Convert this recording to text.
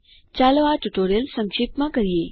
ચાલો આ ટ્યુટોરીયલ સંક્ષિપ્તમાં કરીએ